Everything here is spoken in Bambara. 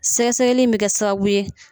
Sɛgɛ sɛgɛli in bɛ kɛ sababu ye